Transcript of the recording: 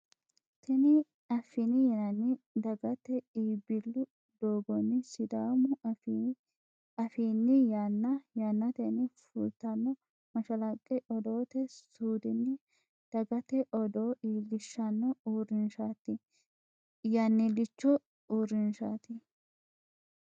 tini affini yinanni daggate iibillu doogonni sidaamu afinni yanna yanatenni fultanno mashalaqqe odoote suudinni dagate odoo iilishanno uurinshaati. yannilicho uurinshaati.